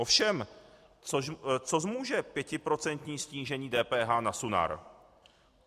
Ovšem co zmůže pětiprocentní snížení DPH na Sunar?